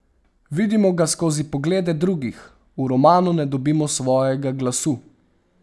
Vidimo ga skozi poglede drugih, v romanu ne dobi svojega glasu.